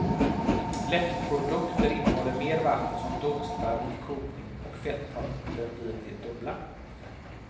Lättprodukter innehåller mer vatten som dunstar vid kokning och fetthalten blir det dubbla.